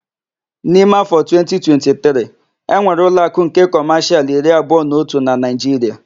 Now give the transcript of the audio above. N'ime áfọ a 2023, enwere ụloakụ nke Kọmashịal iri abụọ na otụ na Naịjiria.